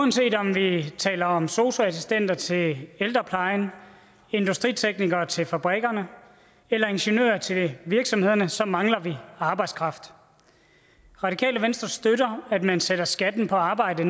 uanset om vi taler om sosu assistenter til ældreplejen industriteknikere til fabrikkerne eller ingeniører til virksomhederne så mangler vi arbejdskraft radikale venstre støtter at man sætter skatten på arbejde